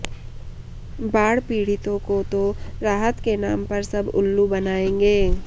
बाढ़ पीडि़तों को तो राहत के नाम पर सब उल्लू बनाएंगे